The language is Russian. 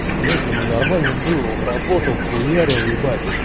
блять ему нормально было он работал хуярил ебать